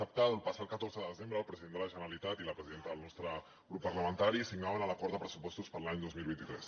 sap que el passat catorze de desembre el president de la generalitat i la presidenta del nostre grup parlamentari signaven l’acord de pressupostos per a l’any dos mil vint tres